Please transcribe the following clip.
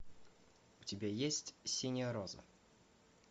у тебя есть синяя роза